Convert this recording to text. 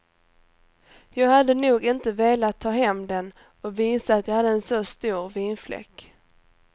Jag hade nog inte velat ta hem den och visa att jag hade en så stor vinfläck.